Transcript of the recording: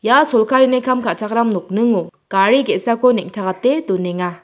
ia sorkarini kam ka·chakram nokningo gari ge·sako neng·takate donenga.